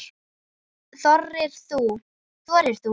Þorir þú?